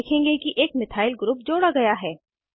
आप देखेंगे कि एक मिथाइल ग्रुप जोड़ा गया है